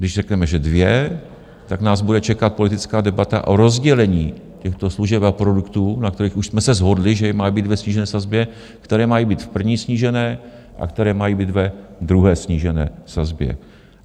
Když řekneme, že dvě, tak nás bude čekat politická debata o rozdělení těchto služeb a produktů, na kterých už jsme se shodli, že mají být ve snížené sazbě, které mají být v prvním snížení a které mají být ve druhém snížení sazbě.